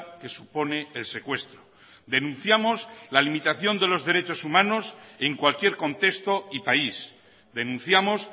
que supone el secuestro denunciamos la limitación de los derechos humanos en cualquier contexto y país denunciamos